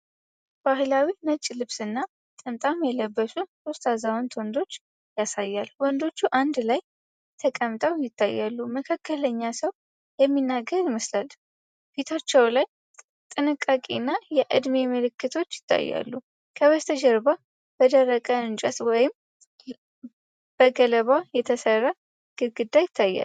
ባህላዊ ነጭ ልብስና ጥምጣም የለበሱ ሦስት አዛውንት ወንዶችን ያሳያል። ወንዶቹ አንድ ላይ ተቀምጠው ይታያሉ፤ መካከለኛው ሰው የሚናገር ይመስላል። ፊታቸው ላይ ጥንቃቄና የዕድሜ ምልክቶች ይታያሉ። ከበስተጀርባ በደረቅ እንጨት ወይም በገለባ የተሠራ ግድግዳ ይታያል።